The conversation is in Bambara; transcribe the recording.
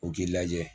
U k'i lajɛ